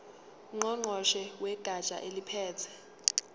ngqongqoshe wegatsha eliphethe